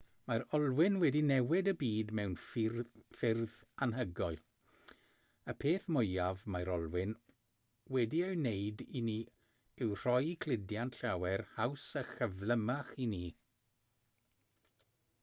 mae'r olwyn wedi newid y byd mewn ffyrdd anhygoel y peth mwyaf mae'r olwyn wedi ei wneud i ni yw rhoi cludiant llawer haws a chyflymach i ni